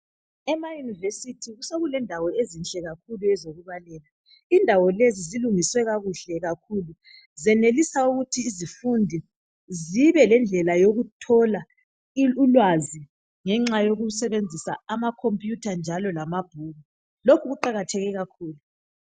EmaUniversity sokulendawo ezinhle kakhulu ezokubalela, indawo lezi zilungisiwe kakuhle kakhulu. Zenelisa ukuthi izifundi zibelendlela yokuthola ulwazi ngenxa yikusebenzisa ama computer njalo lamabhuku. Lokhu kuqakatheke kakhulu.